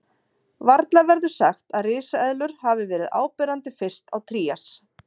Varla verður sagt að risaeðlur hafi verið áberandi fyrst á Trías.